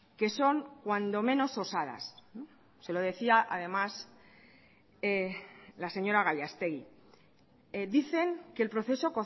que son cuando menos osadas se lo decía además la señora gallastegui dicen que el proceso